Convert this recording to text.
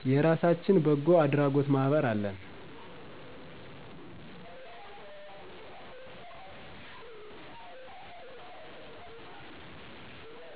የራሳችን በጎ አድራጎት ማህበር አለን